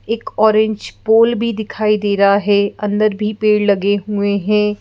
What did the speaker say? एक orange pole भी दिखाई दे रहा है अंदर भी पेड़ लगे हुए हैं।